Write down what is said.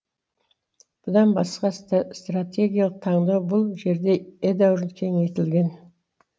бұдан басқа стратегиялық таңдау бұл жерде едәуір кеңейтілген